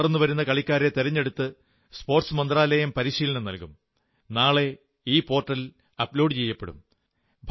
വളർന്നു വരുന്ന കളിക്കാരെ തെരഞ്ഞെടുത്ത് കായിക മന്ത്രാലയം പരിശീലനം നല്കും നാളെ ഈ പോർടൽ അപ്ലോഡ് ചെയ്യപ്പെടും